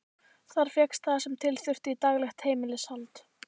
Þar fékkst það sem til þurfti í daglegt heimilishald.